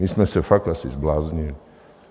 My jsme se fakt asi zbláznili.